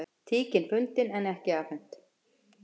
Tíkin fundin en ekki afhent